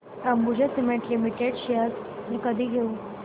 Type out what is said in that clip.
Ambuja cement limited shares मी कधी घेऊ